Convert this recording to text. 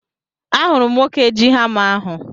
Ahụrụ m nwoke ji hama ahu